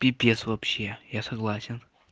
пипец вообще я согласен